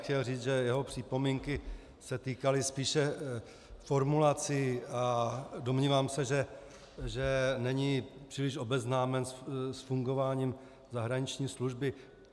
Chtěl říct, že jeho připomínky se týkaly spíše formulací, a domnívám se, že není příliš obeznámen s fungováním zahraniční služby.